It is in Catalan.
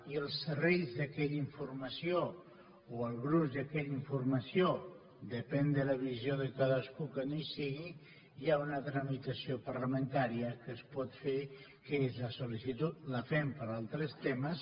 i als serrells d’aquella informació o al gruix d’aquella informació depèn de la visió de cadascú que no hi sigui hi ha una tramitació parlamentària que es pot fer que és la sol·licitud la fem per altres temes